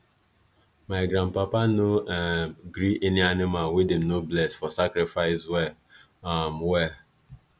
my grandpapa no um gree any animal wey them no bless for sacrifice well um well